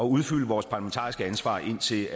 udfylde vores parlamentariske ansvar indtil